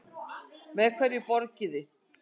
Með hverju borgiði?